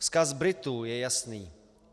Vzkaz Britů je jasný.